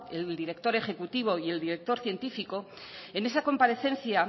el director ejecutivo y el director científico en esa comparecencia